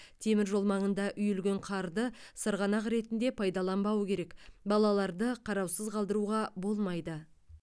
темір жол маңында үйілген қарды сырғанақ ретінде пайдаланбау керек балаларды қараусыз қалдыруға болмайды